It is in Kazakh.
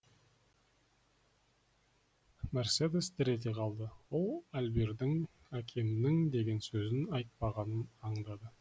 мерседес дір ете қалды ол альбердің әкемнің деген сөзін айтпағанын аңдады